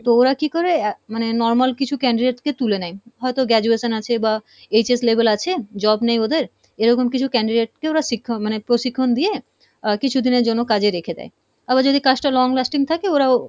তো ওরা কী করে, আহ মানে normal কিছু candidate কে তুলে নেই, হয়তো graduation আছে বা HS level আছে, job নেই ওদের এরকম কিছু candidate কে ওরা শিক্ষা মানে প্রশিক্ষন দিয়ে আহ কিছুদিনের জন্য কাজে রেখে দেই, আবার যদি কাজটা long-lasting থাকে ওরাও,